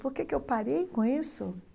Por que que eu parei com isso?